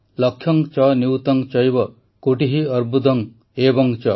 ଲକ୍ଷଂ ଚ ନିୟୂତଂ ଚୈବ କୋଟିଃ ଅର୍ବୁଦଂ ଏବଂ ଚ